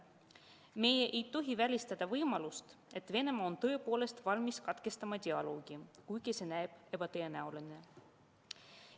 Me ei tohi välistada võimalust, et Venemaa on tõepoolest valmis katkestama dialoogi, kuigi see näib ebatõenäoline.